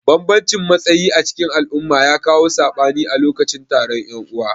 Banbamcin matsayi acikin al'umma ya kawo sabani a lokacin taron yan'uwa.